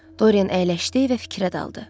Dorin əyləşdi və fikrə daldı.